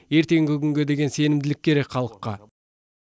ертеңгі күнге деген сенімділік керек халыққа